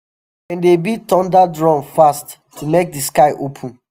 dem dey beat thunder drum fast to make the sky open.